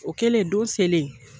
O kɛlen don selen